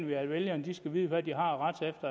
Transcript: vi at vælgerne skal vide hvad de har